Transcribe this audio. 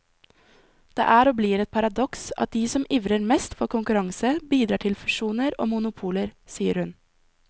Det er og blir et paradoks at de som ivrer mest for konkurranse, bidrar til fusjoner og monopoler, sier hun.